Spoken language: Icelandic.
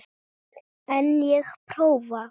En ég prófa.